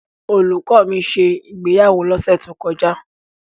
Olùkọ́ mi ṣe ìgbéyàwó lọ́sẹ̀ tó kọjá.